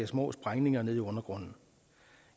små sprængninger nede i undergrunden